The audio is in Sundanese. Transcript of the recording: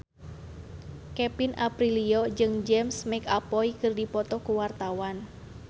Kevin Aprilio jeung James McAvoy keur dipoto ku wartawan